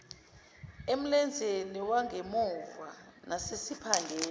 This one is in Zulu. emlenzeni wangemuva nasesiphangeni